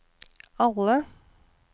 alle